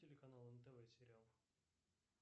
телеканал нтв сериал